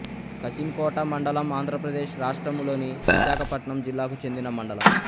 కశింకోట మండలం ఆంధ్ర ప్రదేశ్ రాష్ట్రములోని విశాఖపట్నం జిల్లాకు చెందిన మండలం